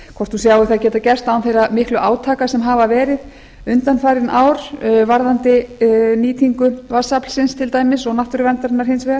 hvort hún sjái það geta gerst án þeirra miklu átaka sem hafa verið undanfarin ár varðandi nýtingu vatnsaflsins til dæmis og náttúruverndarinnar hins vegar